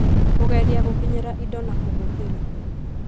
Kũgeria gũkinyĩra indo na kũhũthĩra